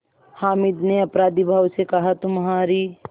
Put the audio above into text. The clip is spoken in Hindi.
हामिद ने अपराधीभाव से कहातुम्हारी